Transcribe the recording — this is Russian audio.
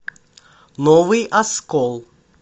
новый оскол